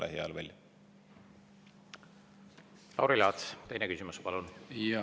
Lauri Laats, teine küsimus, palun!